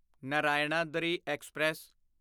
Narayanadri express